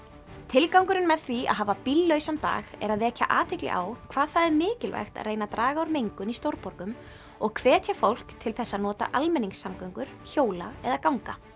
tilgangurinn með því að hafa bíllausan dag er að vekja athygli á hvað það er mikilvægt að reyna að draga úr mengun í stórborgum og hvetja fólk til þess að nota almenningssamgöngur hjóla eða ganga